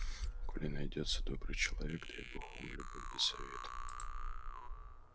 коли найдётся добрый человек дай бог вам любовь да совет